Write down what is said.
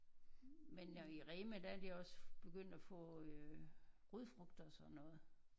Men nu i Rema der er de også begyndt at få øh rodfrugter og sådan noget